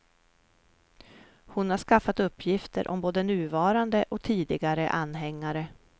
Hon har skaffat uppgifter om både nuvarande och tidigare anhängare.